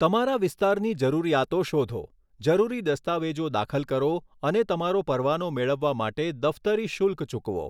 તમારા વિસ્તારની જરૂરિયાતો શોધો, જરૂરી દસ્તાવેજો દાખલ કરો અને તમારો પરવાનો મેળવવા માટે દફતરી શુલ્ક ચૂકવો.